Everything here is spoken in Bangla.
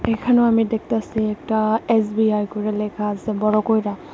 এখানেও আমি দেখতাসি একটা এস_বি_আই করে লেখা আসে বড়ো কইরা।